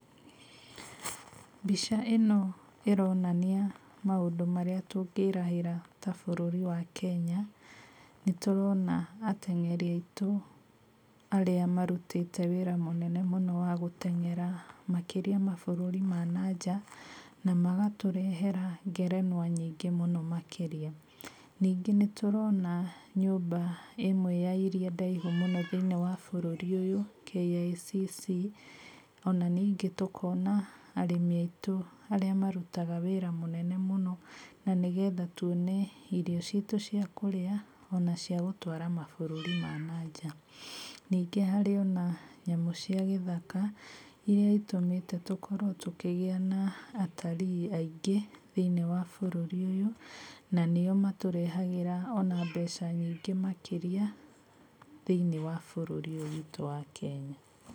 Mbica ĩno ĩronania maũndũ marĩa tũngĩrahĩra ta bũrũri wa Kenya. Nĩtũrona ateng'eri aitũ arĩa marutĩte wĩra mũnene mũno wa gũteng'era makĩria mabũrũri ma na nja, na magatũrehera ngerenwa nyingĩ mũno makĩria. Ningĩ nĩtũrona nyũmba ĩmwe ya iria ndaihu mũno thĩiniĩ wa bũrũri ũyũ KICC, ona ningĩ tũkona arĩmi aitũ arĩa marutaga wĩra mũnene mũno na nĩgetha tuone irio citũ cia kũrĩa ona cia gũtwara mabũrũri ma na nja. Ningĩ harĩ ona nyamũ cia gĩthaka iria itũmĩte tũkorwo tũkĩgĩa na atarii aingĩ thĩiniĩ wa bũrũri ũyũ, na nĩo matũrehagĩra ona mbeca nyingĩ makĩria thĩiniĩ wa bũrũri ũyũ witũ wa Kenya.